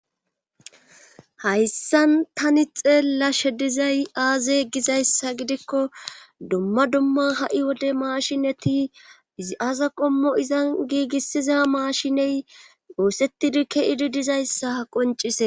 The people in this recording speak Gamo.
Hayssan tani xeella she dizay aaze gizayssa gidikko dumma dumma ha7i wode maashineti izi aaza qommo izan giigissiza maashiney woosetidikke idi dizayssa ha qoncise.